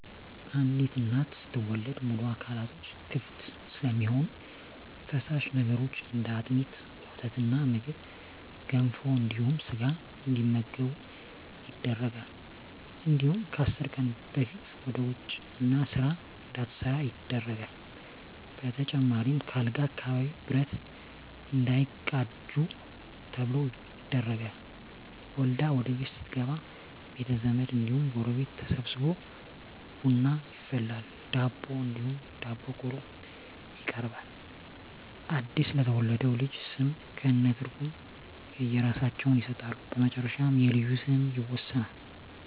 አንዲት እናት ስትወልድ ሙሉ አካላቶች ክፍት ስለሚሆኑ ፈሳሽ ነገሮች እንደ አጥሚት: ወተትና ምግብ ገንፎ እንዲሁም ስጋ እንዲመገቡ ይደረጋል እንዲሁም ከአስር ቀን በፊት ወደ ውጭ እና ስራ እንዳትሠራ ይደረጋል በተጨማሪም ከአልጋ አካባቢ ብረት እንዳይቃጁ ተብሎ ይደረጋል። ወልዳ ወደቤት ስትገባ ቤተዘመድ እንዲሁም ጎረቤት ተሠብስቦ ቡና ይፈላል ዳቦ እንዲሁም ዳቦ ቆሎ ይቀርባል አድስ ለተወለደው ልጅ ስም ከእነ ትርጉም የእየራሳቸውን ይሠጣሉ በመጨረሻ የልጁ ስም ይወሰናል።